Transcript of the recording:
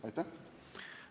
Aitäh!